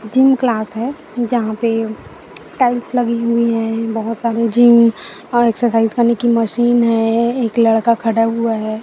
Gym class है जहां पे टाइल्स लगी हुई है बहुत सारे जीम और एक्सरसाइज करने की मशीन है एक लड़का खड़ा हुआ है।